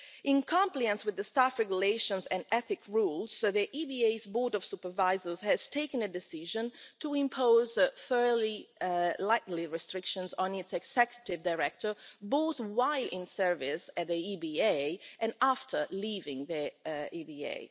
In compliance with the staff regulations and ethical rules, the EBA's Board of Supervisors has taken a decision to impose fairly light restrictions on its Executive Director, both while in service at the EBA and after leaving the EBA.